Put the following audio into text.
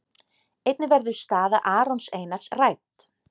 Einnig verður staða Arons Einars rædd.